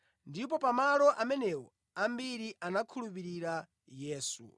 Ndipo pamalo amenewo ambiri anakhulupirira Yesu.